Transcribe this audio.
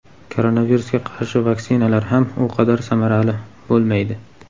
koronavirusga qarshi vaksinalar ham u qadar samarali bo‘lmaydi.